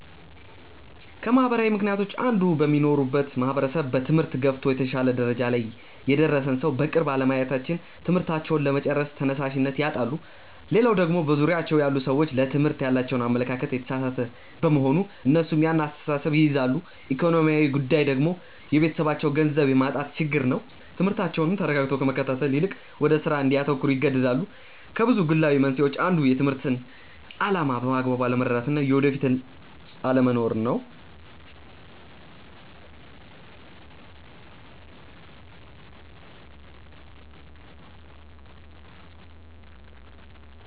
ከማህበራዊ ምክንያቶች አንዱ በሚኖሩበት ማህበረሰብ በትምህርት ገፍቶ የተሻለ ደረጃ ላይ የደረሰን ሰው በቅርብ አለማየታቸው ትምህርታቸውን ለመጨረስ ተነሻሽነት ያጣሉ። ሌላው ደግሞ በዙሪያቸው ያሉ ሰዎች ለትምህርት ያላቸው አመለካከት የተሳሳተ በመሆን እነሱም ያን አስተሳሰብ ይይዛሉ። ኢኮኖሚያዊ ጉዳይ ደግሞ የቤተሰባቸው ገንዘብ የማጣት ችግር ትምህርታቸውን ተረጋግቶ ከመከታተል ይልቅ ወደ ስራ እንዲያተኩሩ ይገደዳሉ። ከብዙ ግላዊ መንስኤዎች አንዱ የትምህርትን አላማ በአግባቡ አለመረዳት እና የወደፊት ህልም አለመኖር ነው።